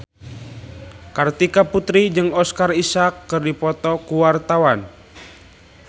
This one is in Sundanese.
Kartika Putri jeung Oscar Isaac keur dipoto ku wartawan